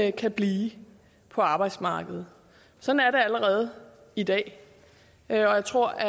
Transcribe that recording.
ikke kan blive på arbejdsmarkedet sådan er det allerede i dag og jeg tror at